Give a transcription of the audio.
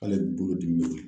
K'ale bolodimi bɛ wuli.